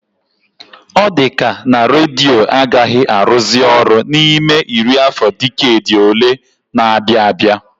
Ọ dịka na redio agaghị arụzị ọrụ n'ime iri afọ diked ole na-abịa abịa